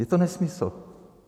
Je to nesmysl.